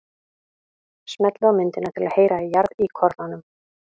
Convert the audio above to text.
Smellið á myndina til að heyra í jarðíkornanum.